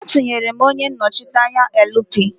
Atunyere m onye nnochite anya LP.